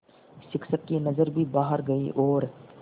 शिक्षक की नज़र भी बाहर गई और